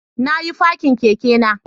Na yi fakin kekena